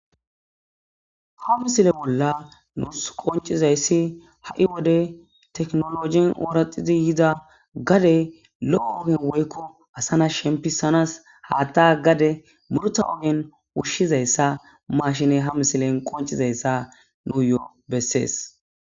ha missile bolla nuus qoncizayssi ha'i wode tekinolojin ooraxidi yiida gade lo'o woykko assa na sheempisanas hatta gade murta ogen ushshizayssa mashine ha misilen qoncizayssa nuyo bessees